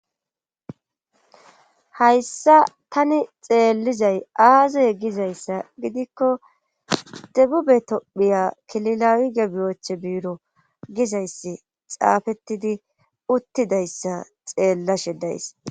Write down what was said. hayssa tani xeellizay aazoye gizayssa gidikko debube tophiya kililawi gebiyoche biiro gizayssi xaafettidi uttidayssa xeellashe days